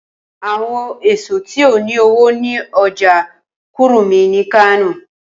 Awọn eso ti o ni owo ni ọja Kurmi ni Kano